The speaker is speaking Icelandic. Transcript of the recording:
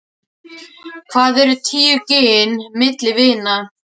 Hvað eru tíu gin milli vina.